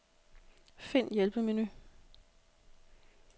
Find hjælpemenu.